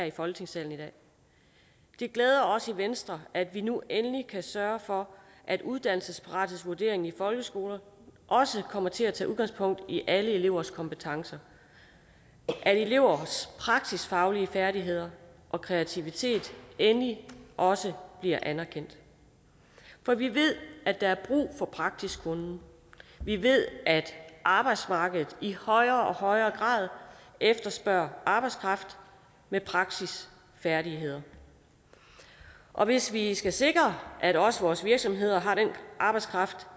i folketingssalen det glæder os i venstre at vi nu endelig kan sørge for at uddannelsesparathedsvurderingen i folkeskoler også kommer til at tage udgangspunkt i alle elevers kompetencer at elevers praksisfaglige færdigheder og kreativitet endelig også bliver anerkendt for vi ved at der er brug for praktisk kunnen vi ved at arbejdsmarkedet i højere og højere grad efterspørger arbejdskraft med praksisfærdigheder og hvis vi skal sikre at vores vores virksomheder har den arbejdskraft